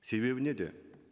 себебі неде